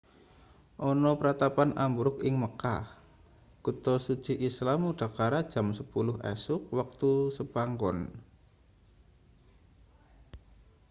ana pratapan ambruk ing mekah kutha suci islam udakara jam 10 esuk wektu sepanggon